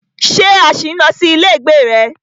Ṣé a ṣì ń lọ sí ilé ìgbé rẹ?